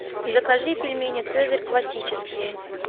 закажи пельмени цезарь классические